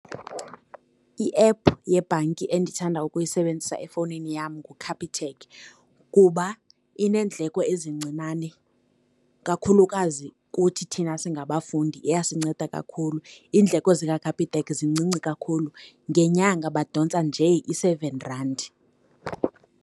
I-app yebhanki endithanda ukuyisebenzisa efowunini yam nguCapitec, kuba ineendleko ezincinane, kakhulukazi kuthi thina singabafundi iyasinceda kakhulu. Iindleko zikaCapitec zincinci kakhulu. Ngenyanga badontsa nje i-seven randi.